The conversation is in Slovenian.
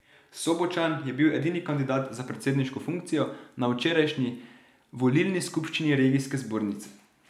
Sobočan je bil edini kandidat za predsedniško funkcijo na včerajšnji volilni skupščini regijske zbornice.